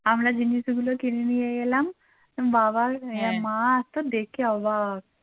আমরা জিনিস গুলো কিনে নিয়ে গেলাম বাবার মা তো দেখে অবাক।